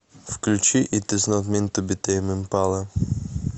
включи ит из нот минт ту би тэйм импала